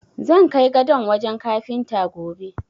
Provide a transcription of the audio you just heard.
Zan kai gadon wajen kafinta, gobe.